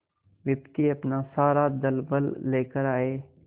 विपत्ति अपना सारा दलबल लेकर आए